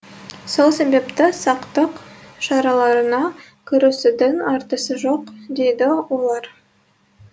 сол себепті сақтық шараларына кірісудің артығы жоқ дейді олар